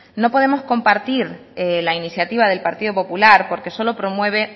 no podemos compartir la iniciativa del partido popular porque solo promueve